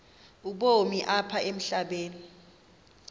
ubomi apha emhlabeni